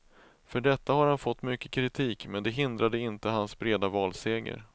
För detta har han fått mycket kritik, men det hindrade inte hans breda valseger.